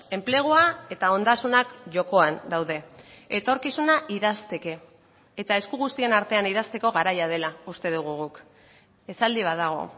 enplegua eta ondasunak jokoan daude etorkizuna idazteke eta esku guztien artean idazteko garaia dela uste dugu guk esaldi bat dago